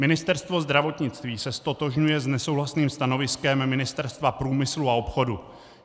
Ministerstvo zdravotnictví se ztotožňuje s nesouhlasným stanoviskem Ministerstva průmyslu a obchodu.